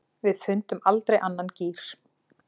Við fundum aldrei annan gír.